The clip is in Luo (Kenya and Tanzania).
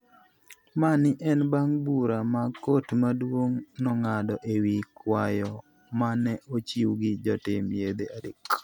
Mani en bang' bura ma Kot Maduong' nong'ado e wi kwayo ma ne ochiw gi jotim yedhe adek.